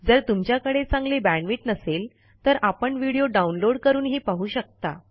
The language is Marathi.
जर तुमच्याकडे चांगली बॅण्डविड्थ नसेल तर आपण व्हिडिओ डाउनलोड करूनही पाहू शकता